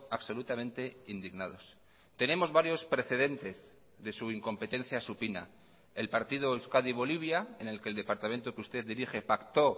absolutamente indignados tenemos varios precedentes de su incompetencia supina el partido euskadi bolivia en el que el departamento que usted dirige pactó